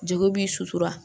Jeli b'i sutura